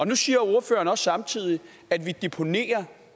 nu siger ordføreren samtidig at vi deponerer